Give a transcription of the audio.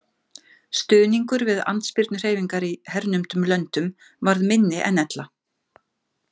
Stuðningur við andspyrnuhreyfingar í hernumdum löndum varð minni en ella.